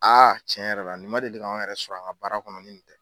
Aa cɛn yɛrɛ la nin ma deli ka anw yɛrɛ sɔrɔ an ka baara kɔnɔ ni nin tɛ